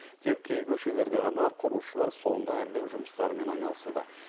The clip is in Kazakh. тек кей көшелерде ғана құрылысшылар соңғы әрлеу жұмыстарымен айналысуда